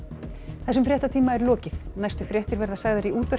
þessum fréttatíma er lokið næstu fréttir verða sagðar í útvarpi